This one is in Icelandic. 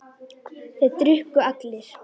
Þeir drukku allir.